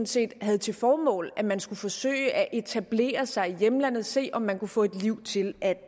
set havde til formål at man skulle forsøge at etablere sig i hjemlandet se om man kunne få et liv til at